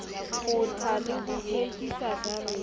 kgotha le ho hlwekisa jarete